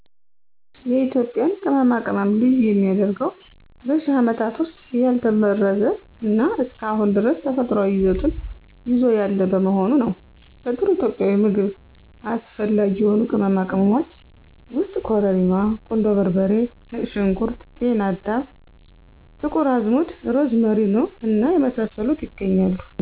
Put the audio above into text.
የኢትዮጵያን ቅመማ ቅመም ልዩ የሚያደርገው በሽህ አመታት ዉስጥ ያልተበረዘ እና እስከ አሁን ድረስ ተፈጥሯዊ ይዘቱን ይዞ ያለ በመሆኑ ነው። ለጥሩ ኢትዮጵያዊ ምግብ አስፈላጊ የሆኑ ቅመማ ቅመሞች ውስጥ ኮረሪማ ; ቁንዶ በርበሬ ; ነጭ ሽንኩርት ; ጤና አዳም ; ጥቁር አዝሙድ; አዝመሪኖ እና የመሳሰሉት ያገኛሉ።